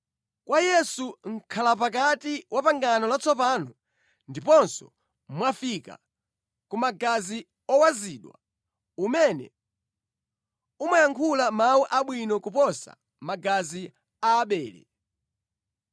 Kwa Yesu mʼkhalapakati wa pangano latsopano, ndiponso mwafika ku magazi owazidwa amene amayankhula mawu abwino kuposa magazi a Abele.